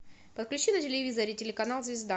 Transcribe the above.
подключи на телевизоре телеканал звезда